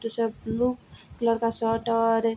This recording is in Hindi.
ब्लू कलर का शर्ट और --